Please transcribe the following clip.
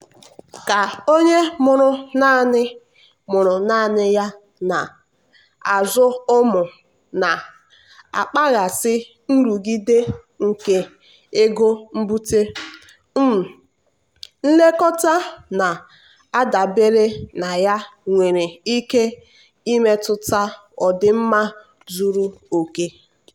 ka onye mụrụ nanị mụrụ nanị ya na-azụ ụmụ na-akpaghasị nrụgide nke ego mbute um nlekọta na-adabere na ya nwere ike imetụta ọdịmma zuru oke.